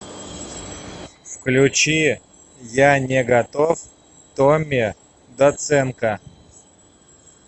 включи я не готов томми доценко